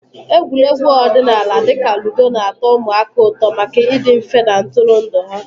Egwuregwu ọdịnala dị ka ludo na-atọ ụmụaka ụtọ maka ịdị mfe na ntụrụndụ ha.